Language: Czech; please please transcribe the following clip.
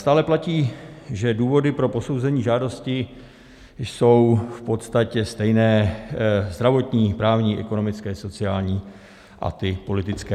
Stále platí, že důvody pro posouzení žádosti jsou v podstatě stejné: zdravotní, právní, ekonomické, sociální a ty politické.